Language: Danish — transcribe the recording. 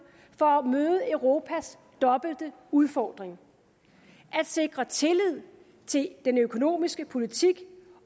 for at møde europas dobbelte udfordring at sikre tillid til den økonomiske politik